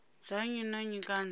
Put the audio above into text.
dza nnyi na nnyi kana